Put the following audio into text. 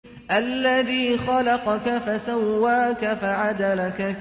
الَّذِي خَلَقَكَ فَسَوَّاكَ فَعَدَلَكَ